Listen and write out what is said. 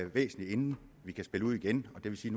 væsentligt inden vi kan spille ud igen og det vil sige